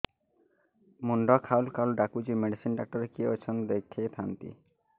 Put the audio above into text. ମୁଣ୍ଡ ଖାଉଲ୍ ଖାଉଲ୍ ଡାକୁଚି ମେଡିସିନ ଡାକ୍ତର କିଏ ଅଛନ୍ ଦେଖେଇ ଥାନ୍ତି